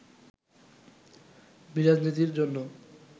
বিরাজনীতির জন্য